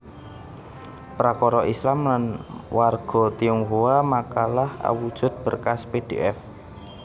Prakara Islam lan warga Tionghoa makalah awujud berkas pdf